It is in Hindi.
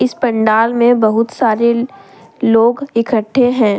इस पंडाल में बहुत सारे लोग इकट्ठे हैं।